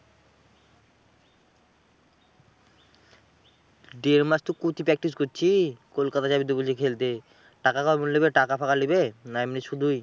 দেড় মাস তো কই তুই practice করছিস। কলকাতা যাবি তো বললি খেলতে। টাকা সব গুনলেবে টাকা ফাকা লিবে? না এমনি শুধুই?